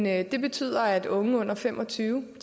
at det betyder at unge under fem og tyve år